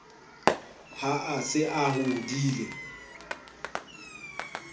ha a se a hodile